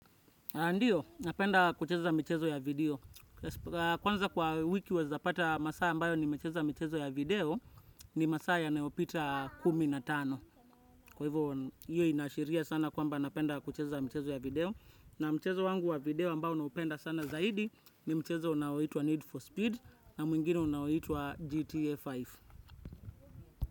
Ndiyo, napenda kucheza michezo ya video. Kwanza kwa wiki waweza pata masaa ambayo nimecheza michezo ya video ni masaa yanayopita kumi na tano. Kwa hivyo hiyo inashiria sana kwamba napenda kucheza michezo ya video. Na mchezo wangu wa video ambao naupenda sana zaidi ni mchezo unaoitwa Need for Speed na mwingine unaoitwa GTA tano.